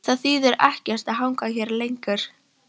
Það þýðir ekkert að hanga hérna lengur.